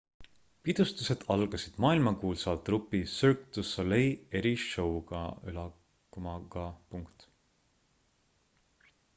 pidustused algasid maailmakuulsa trupi cirque du soleil eri-show'ga